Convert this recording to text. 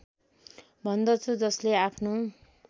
भन्दछु जसले आफ्नो